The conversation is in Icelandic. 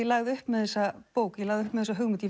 lagði upp með þessa bók ég lagði upp með þessa hugmynd